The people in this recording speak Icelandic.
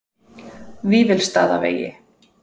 Vífilsstaðavegi